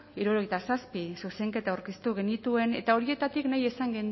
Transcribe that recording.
hirurogeita zazpi zuzenketa aurkeztu genituen eta horietatik nahi izan